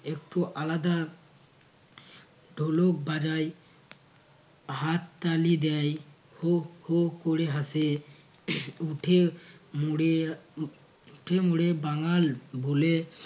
একটু আলাদা। ঢোলক বাজায় হাত তালি দেয় হো হো ক'রে হাসে। উঠে মোড়ে আহ উঠে মোড়ে বাঙ্গাল বলে